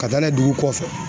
Ka taa n'a ye dugu kɔfɛ.